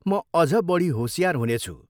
म अझ बढी होसियार हुनेछु।